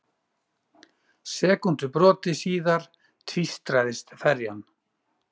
Sekúndubroti síðar tvístraðist ferjan.